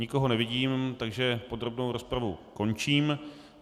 Nikoho nevidím, takže podrobnou rozpravu končím.